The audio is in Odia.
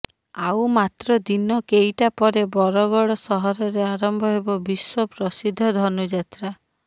ଆଉ ମାତ୍ର ଦିନ କେଇଟା ପରେ ବରଗଡ଼ ସହରରେ ଆରମ୍ଭ ହେବ ବିଶ୍ୱ ପ୍ରସିଦ୍ଧ ଧନୁଯାତ୍ରା